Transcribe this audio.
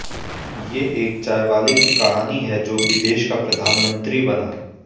ये एक चायवाले की कहानी है जो कि देश का प्रधानमंत्री बना